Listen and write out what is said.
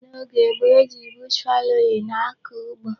N'oge gboo, e ji bush fallowing akọ ugbo.